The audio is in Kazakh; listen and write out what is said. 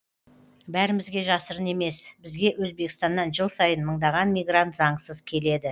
бәрімізге жасырын емес бізге өзбекстаннан жыл сайын мыңдаған мигрант заңсыз келеді